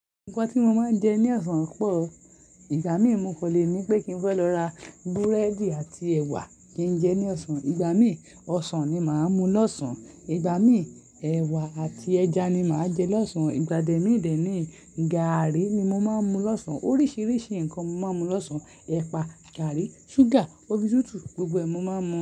Nǹkan tí mo máa ń jẹ ní ọ̀sán pọ̀. Ìgbà mí mo kan lè ní pé kí n fẹ́ lọ ra búrẹ́dì àti ẹ̀wà kí n jẹ ní ọ̀sán. Ìgbà mí ọsàn ni màá mú lọ́sàn. Ìgbà mí, ẹ̀wà àti ẹja ni màá jẹ lọ́sàn. Ìgbà dẹ̀ mí dẹ̀ ní gaàrí ni mo máa ń mú lọ́sàn. Oríṣiríṣi nǹkan mo máa ń mú lọ́sàn. Ẹpa, gàrí, ṣúgà, mi tútù, gbogbo ẹ̀ mo a máa mú.